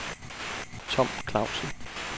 Tom Clausen